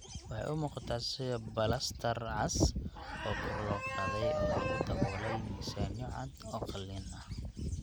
Waxay u muuqataa sida balastar cas oo kor loo qaaday oo lagu daboolay miisaanyo cad oo qalin ah.